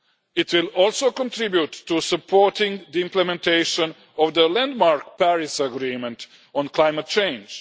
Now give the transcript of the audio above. It will also contribute to supporting the implementation of the landmark Paris Agreement on climate change.